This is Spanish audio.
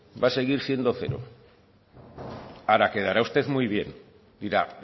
va a seguir siendo cero ahora quedará usted muy bien dirá